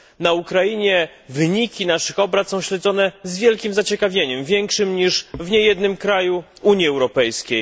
Na Ukrainie wyniki naszych obrad są śledzone z wielkim zaciekawieniem, większym niż w niejednym kraju Unii Europejskiej.